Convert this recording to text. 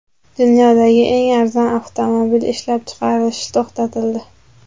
Dunyodagi eng arzon avtomobil ishlab chiqarilishi to‘xtatildi.